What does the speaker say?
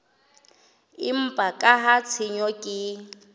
empa ka ha tshenyo ke